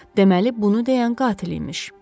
Deməli bunu deyən qatil imiş.